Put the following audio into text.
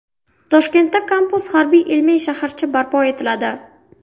Toshkentda kampus harbiy-ilmiy shaharcha barpo etiladi.